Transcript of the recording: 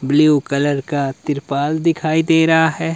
Blue colour का तिरपाल दिखाई दे रहा है।